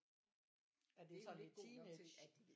Er det ikke sådan lidt teenage